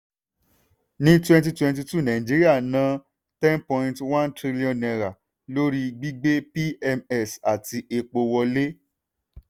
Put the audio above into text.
ní twenty twenty two nàìjíríà ná n ten point one trillion lórí gbígbé pms àti epo wọlé.